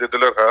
Dedilər hə.